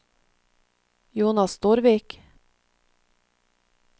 Jonas Storvik